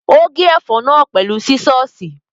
Ó gé ẹ̀fọ́ náà pẹ̀lú sísọ́ọ̀sì.